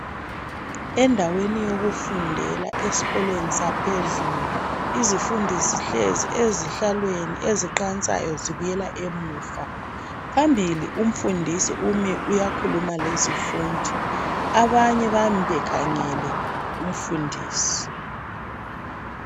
Endaweni yokufundela esikolweni saphezulu, izifundi zihlezi ezihlalweni eziqansayo zibuyela emuva. Phambili umfundisi umi uyakhuluma lezifundi. Abanye bakhangele umfundisi